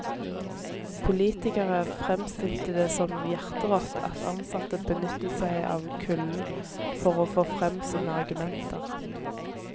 Politikere fremstilte det som hjerterått at ansatte benyttet seg av kulden for å få frem sine argumenter.